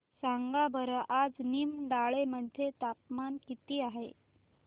सांगा बरं आज निमडाळे मध्ये तापमान किती आहे